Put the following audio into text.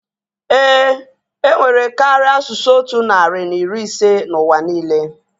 Éè, enwere karịa asụsụ otu narị na iri ise n'ụwa niile